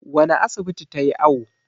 wane asibiti ta yi awo?